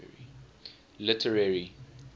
literary